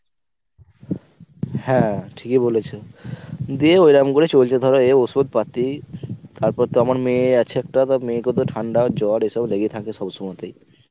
হ্যাঁ ঠিকই বলেছো। দিয়ে এরম করে চলছে ধরো এ ওষুধ পাতি তারপর তো আমার মেয়ে আছে একটা তা মেয়েকে তো ঠান্ডা জ্বর এসব লেগে থাকবে সবসমতেই